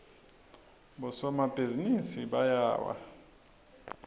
bosomabhizinisi bayawa